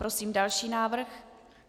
Prosím další návrh.